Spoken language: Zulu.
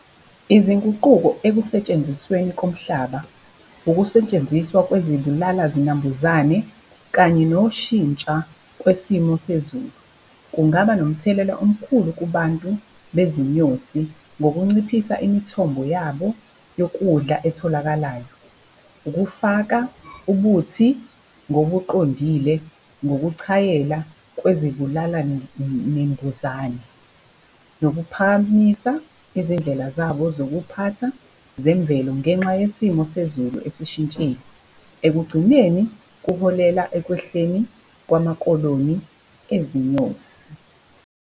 Izinguquko ekusentshenzisweni komhlaba. Ukusetshenziswa kwezibulala zinambuzane, kanye noshintsha kwesimo sezulu, kungaba nomthelela omkhulu kubantu bezinyosi ngokunciphisa imithombo yabo yokudla etholakalayo. Ukufaka ubuthi ngobuqondile ngokuchayela kwezezibulala nembuzane. Nokuphakamisa izindlela zabo zokuphatha zemvelo ngenxa yesimo sezulu esishintshile. Ekugcineni kuholela ekwehleni kwamakoloni ezinyosi.